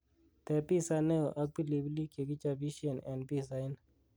teeb piza neo ak pilipilik chegichobisyen en pizza inn